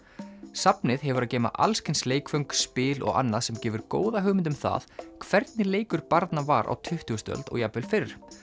safnið hefur að geyma leikföng spil og annað sem gefur góða hugmynd um það hvernig leikur barna var á tuttugustu öld og jafnvel fyrr